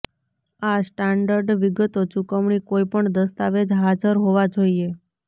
આ સ્ટાન્ડર્ડ વિગતો ચુકવણી કોઈપણ દસ્તાવેજ હાજર હોવા જોઈએ